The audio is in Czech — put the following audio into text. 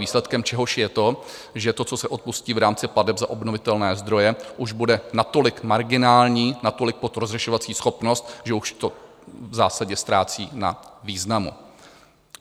Výsledkem čehož je to, že to, co se odpustí v rámci plateb za obnovitelné zdroje, už bude natolik marginální, natolik pod rozlišovací schopnost, že už to v zásadě ztrácí na významu.